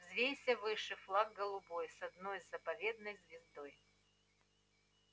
взвейся выше флаг голубой с одной заповедной звездой